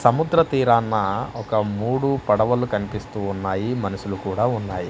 సముద్ర తీరానా ఒక మూడు పడవలు కనిపిస్తూ ఉన్నాయి మనుషులు కూడా ఉన్నాయి.